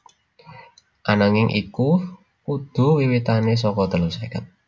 Ananging iku dudu wiwitane saka telu seket